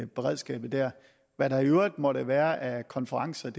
beredskabet hvad der i øvrigt måtte være af konferencer